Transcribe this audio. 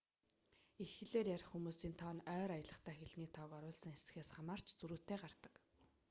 эх хэлээр ярих хүмүүсийн тоо нь ойр аялагтай хэлний тоог оруулсан эсхээс хамаарч зөрүүтэй гардаг